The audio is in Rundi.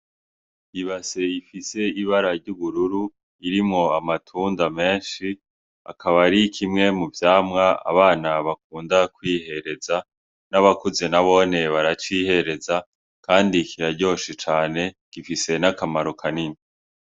Ibase ifise ibara ry'ubururu, irimwo amatunda menshi, akaba ari kimwe mu vyamwa abana bakunda kwihereza. N'abakuze nabone baracihereza, kandi kiraryoshe cane, gifise n'akamaro kanini.